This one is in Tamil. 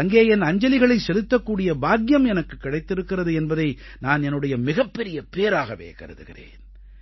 அங்கே என் அஞ்சலிகளைச் செலுத்தக்கூடிய பாக்கியம் எனக்குக் கிடைத்திருக்கிறது என்பதை நான் என்னுடைய மிகப்பெரிய பேறாகவே கருதுகிறேன்